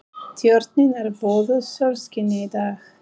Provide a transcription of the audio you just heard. Tjörnin er böðuð sólskini í dag.